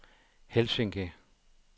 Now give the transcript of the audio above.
Helsinki